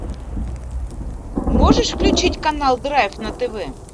можешь включить канал драйв на тв